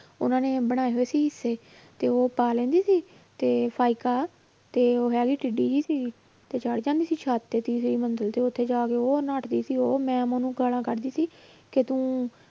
ਉਹਨਾਂ ਨੇ ਬਣਾਏ ਹੋਏ ਸੀ ਹਿੱਸੇ ਤੇ ਉਹ ਪਾ ਲੈਂਦੀ ਸੀ ਤੇ ਤੇ ਉਹ ਹੈਗੀ ਟਿੱਡੀ ਜਿਹੀ ਸੀਗੀ ਤੇ ਚੜ੍ਹ ਜਾਂਦੀ ਸੀ ਛੱਤ ਤੇ ਤੀਸਰੀ ਮੰਜ਼ਿਲ ਤੇ ਉੱਥੇ ਜਾ ਕੇ ਉਹ ਨੱਠਦੀ ਸੀ ਉਹ ma'am ਉਹਨਾਂ ਨੂੰ ਗਾਲਾਂਂ ਕੱਢਦੀ ਸੀ ਕਿ ਤੁੰ